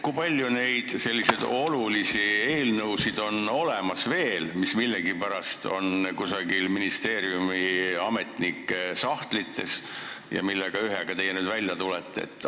Kui palju on veel olemas olulisi eelnõusid, mis millegipärast on kusagil ministeeriumi ametnike sahtlites ja millega teie nüüd välja tulete?